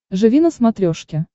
живи на смотрешке